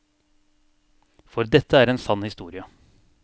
For dette er en sann historie.